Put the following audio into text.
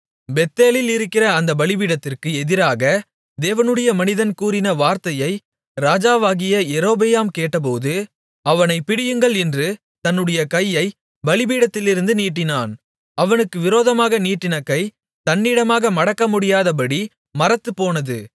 பெத்தேலில் இருக்கிற அந்த பலிபீடத்திற்கு எதிராக தேவனுடைய மனிதன் கூறின வார்த்தையை ராஜாவாகிய யெரொபெயாம் கேட்டபோது அவனைப் பிடியுங்கள் என்று தன்னுடைய கையைப் பலிபீடத்திலிருந்து நீட்டினான் அவனுக்கு விரோதமாக நீட்டின கை தன்னிடமாக மடக்கமுடியாதபடி மரத்துப்போனது